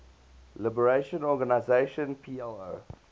liberation organization plo